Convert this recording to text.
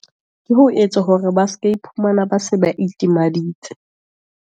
Ke ho etsa hore ba se ke iphumana ba se ba itimaditse.